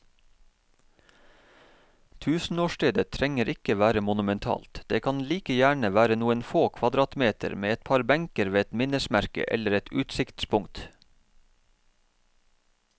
Tusenårsstedet trenger ikke være monumentalt, det kan like gjerne være noen få kvadratmeter med et par benker ved et minnesmerke eller et utsiktspunkt.